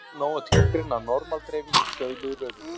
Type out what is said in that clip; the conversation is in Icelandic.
Hér er nóg að tilgreina að normal-dreifing er stöðluð röðun.